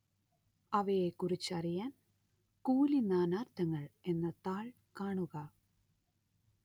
അവയെക്കുറിച്ചറിയാന്‍ കൂലി നാനാര്‍ത്ഥങ്ങള്‍ എന്ന താള്‍ കാണുക